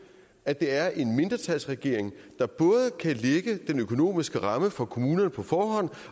at det er en mindretalsregering der både kan lægge den økonomiske ramme for kommunerne på forhånd